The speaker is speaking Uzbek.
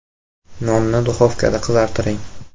Nonni duxovkada qizartiring.